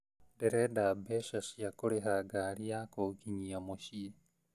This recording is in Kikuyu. Ndĩrenda mbeca cĩa kũrĩha ngari ya kũnginyia mũciĩ